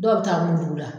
Dɔw bɛ taa mun dugu la